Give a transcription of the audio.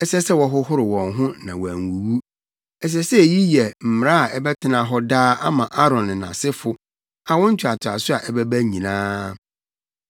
ɛsɛ sɛ wɔhohoro wɔn ho na wɔanwuwu. Ɛsɛ sɛ eyi yɛ mmara a ɛbɛtena hɔ daa ama Aaron ne nʼasefo, awo ntoatoaso a ɛbɛba nyinaa.”